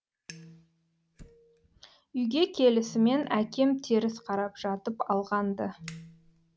үйге келісімен әкем теріс қарап жатып алған ды